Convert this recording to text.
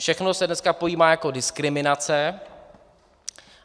Všechno se dneska pojímá jako diskriminace.